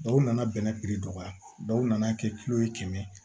Dɔw nana bɛnɛ piri dɔgɔya dɔw nana kɛ ye kɛmɛ